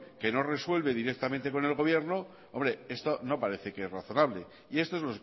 que no resuelve directamente con el gobierno esto no parece que es razonable y esto es